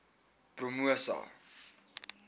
promosa